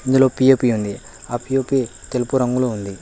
ఇందులో పి_ఓ_పి ఉంది ఆ పి_ఓ_పి తెలుపు రంగులో ఉంది.